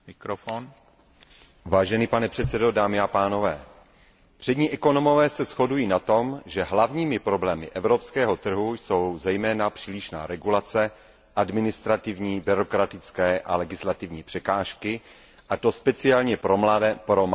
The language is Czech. Pane předsedající, přední ekonomové se shodují na tom, že hlavními problémy evropského trhu jsou zejména přílišná regulace, administrativní, byrokratické a legislativní překážky, a to zejména pro malé a střední podnikání.